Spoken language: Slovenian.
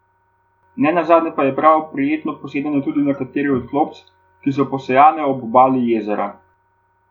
Ne nazadnje pa je prav prijetno tudi posedanje na kateri od klopc, ki so posejane ob obali jezera.